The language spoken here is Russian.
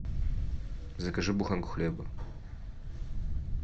закажи буханку хлеба